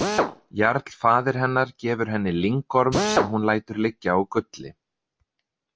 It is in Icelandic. Jarl faðir hennar gefur henni lyngorm sem hún lætur liggja á gulli.